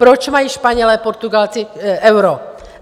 Proč mají Španělé, Portugalci euro?